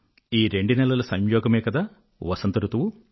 ఈ రెండు నెలల సంయోగమే కదా వసంత ఋతువు